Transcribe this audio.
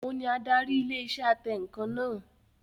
Òun ni adarí ilé iṣẹ́ atẹǹkan náà